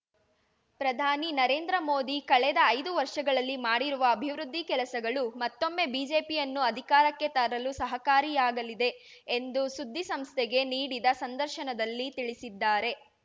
ಪ್ರಧಾನಿ ನರೇಂದ್ರ ಮೋದಿ ಕಳೆದ ಐದು ವರ್ಷಗಳಲ್ಲಿ ಮಾಡಿರುವ ಅಭಿವೃದ್ಧಿ ಕೆಲಸಗಳು ಮತ್ತೊಮ್ಮೆ ಬಿಜೆಪಿಯನ್ನು ಅಧಿಕಾರಕ್ಕೆ ತರಲು ಸಹಕಾರಿಯಾಗಲಿದೆ ಎಂದು ಸುದ್ದಿಸಂಸ್ಥೆಗೆ ನೀಡಿದ ಸಂದರ್ಶನದಲ್ಲಿ ತಿಳಿಸಿದ್ದಾರೆ